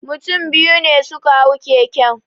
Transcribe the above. Mutum biyu ne suka hau keken